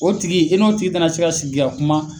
O tigi e n'o tigi ta na se ka na sigi ka kuma